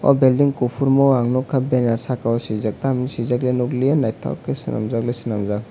oh building kuphur mo ang nukha banner sakao swijak tam hinwi swijak khe nukliya naithok khe swnamjakle swnamjak.